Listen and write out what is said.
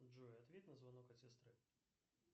джой ответь на звонок от сестры